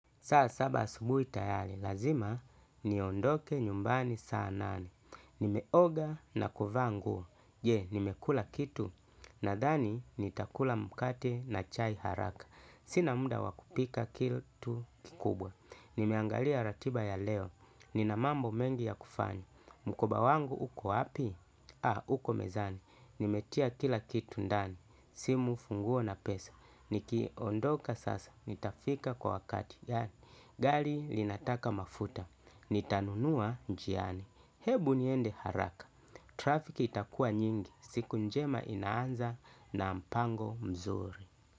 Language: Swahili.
Saasaba asubu itayari, lazima ni ondoke nyumbani saa nane. Nimeoga na kuvaa nguo, je, nimekula kitu, na thani nitakula mkate na chai haraka. Sina muda wakupika kitu kikubwa. Nimeangalia ratiba ya leo, ninamambo mengi ya kufanya. Mukoba wangu uko wapi? Aaa, uko mezani. Nimetia kila kitu ndani, simu funguo na pesa. Nikiondoka sasa, nitafika kwa wakati. Yani, gali linataka mafuta, nitanunua njiani, hebu niende haraka, trafik itakua nyingi, siku njema inaanza na mpango mzuri.